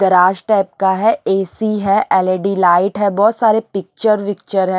Garage type का है AC है एलईडी लाइट है बहुत सारे पिक्चर विक्चर है।